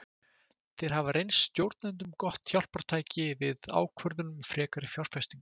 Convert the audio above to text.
Þeir hafa reynst stjórnendum gott hjálpartæki við ákvörðun um frekari fjárfestingu.